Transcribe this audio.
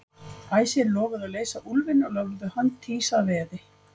Æsir lofuðu að leysa úlfinn og lögðu hönd Týs að veði.